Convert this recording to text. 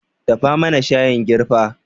Dafa mana shayin girfa